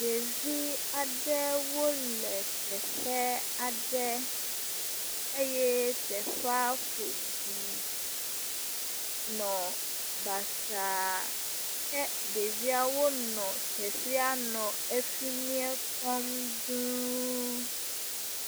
Ɖevi aɖewo le teƒe aɖe eye teƒea ƒoɖi nɔ basa ke eviawo nɔ teƒea nɔ efi mia kpɔm duu.